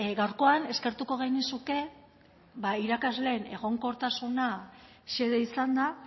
gaurkoan eskertuko genizuke irakasleen egonkortasuna xede izanda